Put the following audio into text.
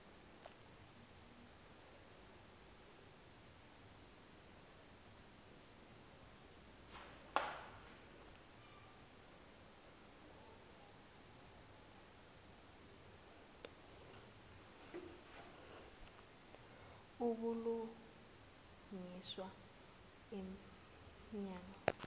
ubulungiswa em nyango